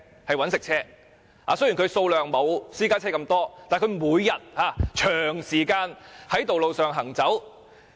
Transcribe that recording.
雖然商用車比私家車少，但商用車每天長時間在道路上行走。